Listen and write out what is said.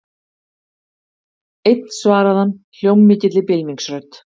Einn svaraði hann hljómmikilli bylmingsrödd.